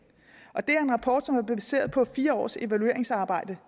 det er en rapport som er baseret på fire års evalueringsarbejde